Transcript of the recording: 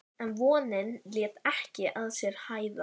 En vonin lét ekki að sér hæða.